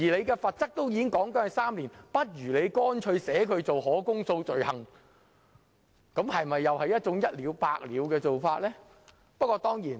既然罰則已訂明為監禁3年，不如乾脆把它訂為可公訴罪行，不就是一了百了的做法嗎？